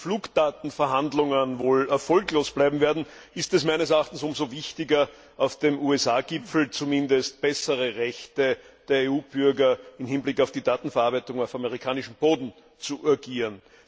Nachdem die Flugdatenverhandlungen wohl erfolglos bleiben werden, ist es meines Erachtens umso wichtiger, auf dem USA Gipfel zumindest bessere Rechte der EU Bürger im Hinblick auf die Datenverarbeitung auf amerikanischem Boden zu urgieren.